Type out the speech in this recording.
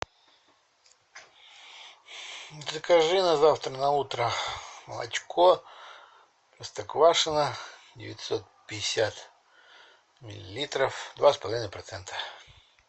закажи на завтра на утро молочко простоквашино девятьсот пятьдесят миллилитров два с половиной процента